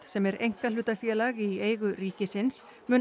sem er einkahlutafélag í eigu ríkisins